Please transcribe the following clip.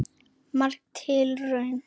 Merk tilraun